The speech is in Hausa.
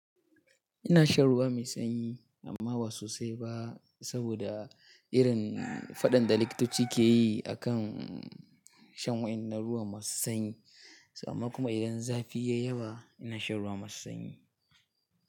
Ina shan ruwa mai sanyi amma ba sosai ba saboda irin faɗan da likitoci ke yi a kan shan wa'inan ruwa masu sanyi. Amma kuma idan zafi ya yi yawa ina shan ruwa masu sanyi.